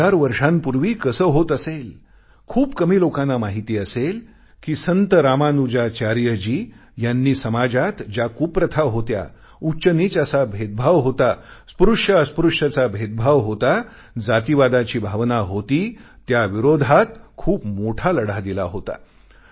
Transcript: एक हजार वर्षांपूर्वी कसे होत असेल खूप कमी लोकांना माहित असेल कि रामानुजाचार्यजी यांनी समाजात ज्या कुप्रथा होत्या उच्चनीच असा भेदभाव होता स्पृश्यअस्पृश्यचा भेदभाव होता जातीवादाची भावना होती त्याविरोधात खूप मोठा लढा दिला होता